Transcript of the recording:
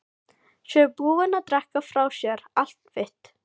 Séu búin að drekka frá sér allt vit.